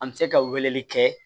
An bɛ se ka weleli kɛ